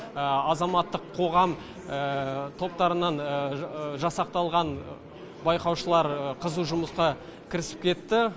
азаматтық қоғам топтарынан жасақталған байқаушылар қызу жұмысқа кірісіп кетті